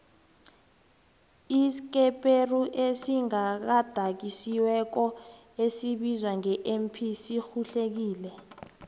iskeperuesigadangisweko esibizwa nge mp sirhuhlekile